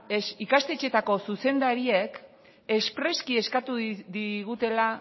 ikastetxeetako zuzendariek espresuki eskatu digutela